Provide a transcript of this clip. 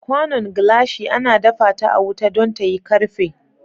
Kwanon glashi ana dafa ta a wuta don tayi karfe.